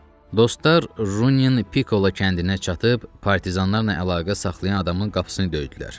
Dostlar, Runyen Pikola kəndinə çatıb partizanlarla əlaqə saxlayan adamın qapısını döydülər.